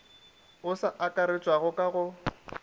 o sa akaretšwago ka go